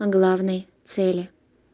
о главной цели